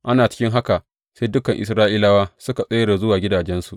Ana cikin haka, sai dukan Isra’ilawa suka tsere zuwa gidajensu.